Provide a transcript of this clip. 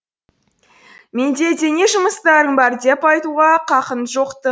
менде де не жұмыстарың бар деп айтуға қақың жоқ ты